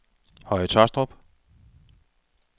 Høje Tåstrup